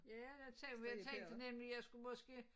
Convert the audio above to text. Ja jeg tænk men jeg tænkte nemlig jeg skulle måske